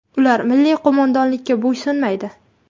Ular milliy qo‘mondonlikka bo‘ysunmaydi.